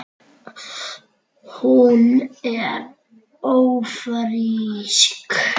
Hún er ÓFRÍSK!